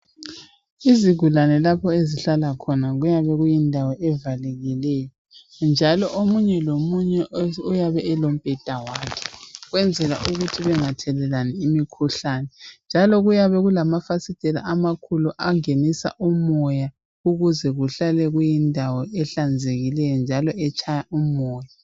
Izigulane lapho ezihlala khona kuyabe kuyindawo evalekileyo njalo omunye lomunye uyabe elombheda wakhe ukwenzela ukuthi bengathelelani imikhuhlane njalo kuyabe kulamafasitela amakhulu angenisa umoya ukuze kuhlale kuyindawo ehlanzekileyo njalo etshaya umoya.